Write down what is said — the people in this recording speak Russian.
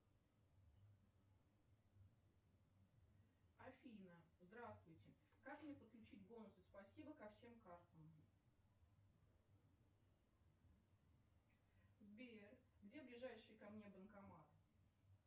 афина здравствуйте как мне подключить бонусы спасибо ко всем картам сбер где ближайший ко мне банкомат